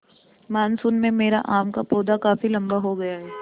monsoon में मेरा आम का पौधा काफी लम्बा हो गया है